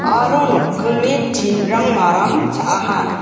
aro nokkingni tin-rang maram cha·aha.